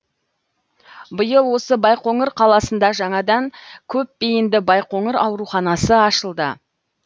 биыл осы байқоңыр қаласында жаңадан көпбейінді байқоңыр ауруханасы ашылды